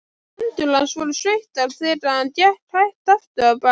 Hendur hans voru sveittar þegar hann gekk hægt afturábak.